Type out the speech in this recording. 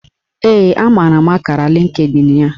Ee, amara m akara Lịnkdịn ya